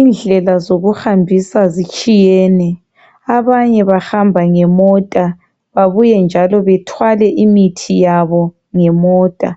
Indlela zokuhambisa zitshiyene. Abanye bahamba ngemota bebuye njalo bethwale imithi yabo ngemota.